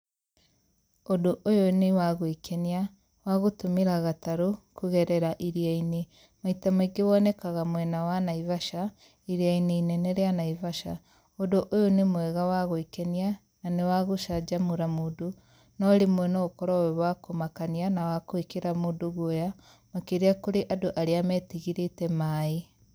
Ũndũ ũyũ nĩ wa gwekenia, wa gũtũmĩra gatarũ kũgerera iria-inĩ. Maita maingĩ wonekaga mwena wa Naivasha, iria-inĩ inene rĩa Naivasha. Ũndũ ũyũ nĩ mwega wa gwĩkenia, na nĩ wa gũcanjamũra mũndũ, no rĩmwe no ũkorwo wĩ wa kũmakania na wa kũĩkĩra mũndũ guoya, makĩria kũrĩ andũ arĩa metigĩrĩte maaĩ.